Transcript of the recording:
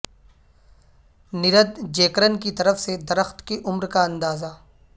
نردجیکرن کی طرف سے درخت کی عمر کا اندازہ